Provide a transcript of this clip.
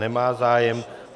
Nemá zájem.